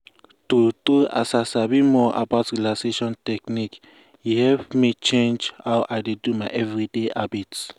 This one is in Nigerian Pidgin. true true as i sabi more about relaxation technique e help me change how i dey do my everyday habit.